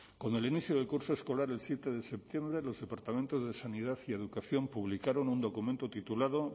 con el inicio del curso escolar el siete de septiembre los departamentos de sanidad y educación publicaron un documento titulado